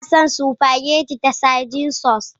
Ina son spaghetti da sardine sauce.